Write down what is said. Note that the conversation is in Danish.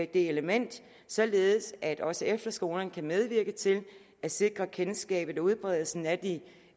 det element således at også efterskolerne kan medvirke til at sikre kendskabet og udbredelsen af de